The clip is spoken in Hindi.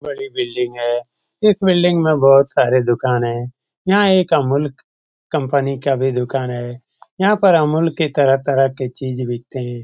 बड़ी बिल्डिंग है। इस बिल्डिंग में बहुत सारे दुकान हैं। यहाँ एक अमूल कंपनी का भी दुकान है। यहाँ पर अमूल के तरह-तरह की चीज बिकते हैं।